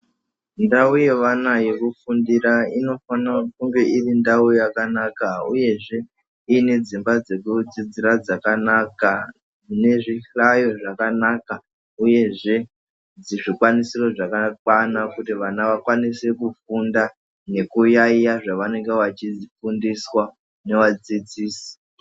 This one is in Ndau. Ndau yevana yekufundira inofana kunge iri ndau yakanaka uyezve iine dzimba dzekudzidzira dzakanaka mune zvihlayo zvakanaka uyezve dzizvikwanisiro zvakakwana kuti vana vakwanise kufunda nekuyaiya zvavanenge vachifundiswa nevadzidzisi .